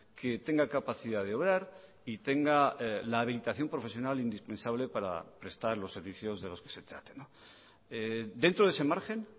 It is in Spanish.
que tenga capacidad de obrar y tenga la habilitación profesional indispensable para prestar los servicios de los que se traten dentro de ese margen